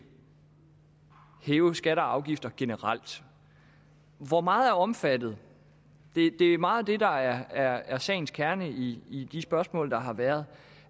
hæve skatter og afgifter generelt hvor meget er omfattet det er meget det der er sagens kerne i i de spørgsmål der har været